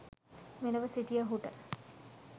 මෙලොව සිටියහුට